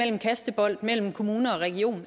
en kastebold mellem kommune og region